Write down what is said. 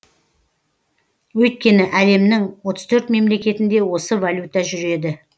өйткені әлемнің отыз төрт мемлекетінде осы валюта жүреді